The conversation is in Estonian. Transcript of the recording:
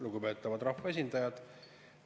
Lugupeetavad rahvaesindajad!